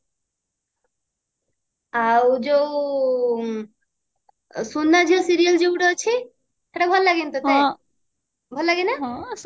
ଆଉ ଯୋଉ ସୁନାଝିଅ serial ଯୋଉ ଗୋଟେ ଅଛି ସେଇଟା ଭଲ ଲାଗେନି ତତେ ହଁ ଭଲ ଲାଗେ ନା